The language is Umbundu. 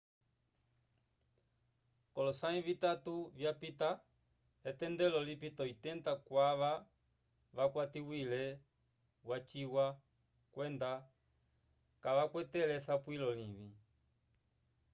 k'olosãyi vitatu vyapita etendelo lipita 80 kwava vakwatiwile waciwa kwenda kavakwatele esapulo livĩ